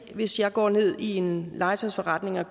hvis jeg går ned i en legetøjsforretning og